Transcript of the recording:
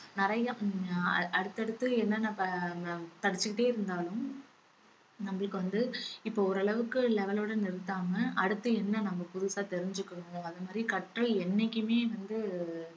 நிறைய ஹம் அடுத்தடுத்து என்னன்ன ப~ அஹ் படிச்சிட்டே இருந்தாலும் நம்மளுக்கு வந்து இப்ப ஓரளவுக்கு level ஓட நிறுத்தாம அடுத்து என்ன நம்ம புதுசா தெரிஞ்சிக்கிறோம் அத மாதிரி கற்ற என்னைக்குமே வந்து